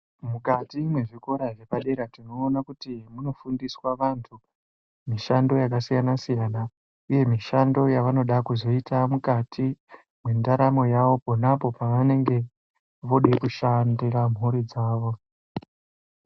Mukati mwezvikora zvepadera tinoona kuti munofundiswa vantu mishando yakasiyana uye mishando yavanoda kuzoita mukati mwendaramo yavo panapo pavanenge voda kushandira mhuri dzavo.